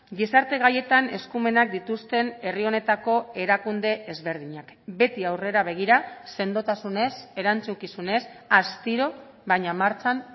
gizarte gaietan eskumenak dituzten herri honetako erakunde ezberdinak beti aurrera begira sendotasunez erantzukizunez astiro baina martxan